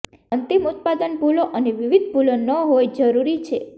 તે અંતિમ ઉત્પાદન ભૂલો અને વિવિધ ભૂલો ન હોય જરૂરી છે